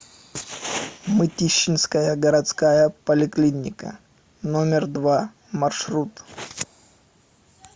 мытищинская городская поликлиника номер два маршрут